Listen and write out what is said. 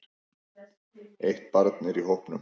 Eitt barn er í hópnum.